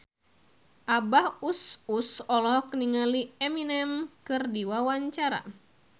Abah Us Us olohok ningali Eminem keur diwawancara